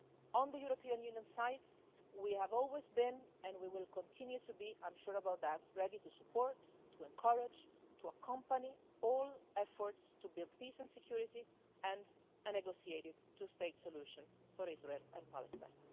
On the European Union side, we have always been, and we will continue to be I'm sure about that ready to support, to encourage and to accompany all efforts to build peace and security and a negotiated two-state solution for Israel and Palestine.